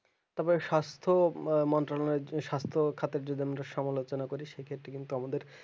তবে স্বাস্থ মন্ত্রণালয়ের যে স্বাস্থ খাটিজকেন্দ্র সমালোচনা করি সেক্ষেত্রে কিন্তু আমাদের